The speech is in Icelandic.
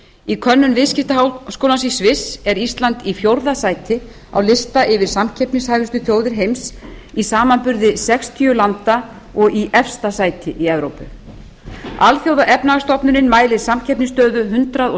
í könnun viðskiptaháskólans í sviss er ísland í fjórða sæti á lista yfir samkeppnishæfustu þjóðir heims í samanburði sextíu landa og í efsta sæti í evrópu alþjóðaefnahagsstofnunin mælir samkeppnisstöðu hundrað og